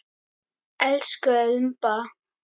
Elsku Imba.